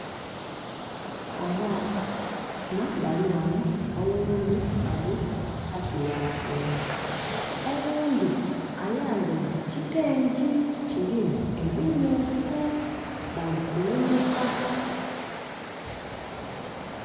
Abaana bali ghano, oghundi ali mu saati ya kyenvu. Oghundi ayambaile kitengyi, kilimu ebimyuufu. Bali kulumuka.